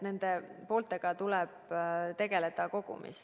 Nende pooltega tuleb tegeleda kogumis.